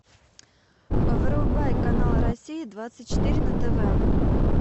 врубай канал россия двадцать четыре на тв